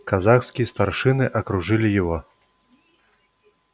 казацкие старшины окружали его